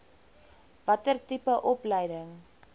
watter tipe opleiding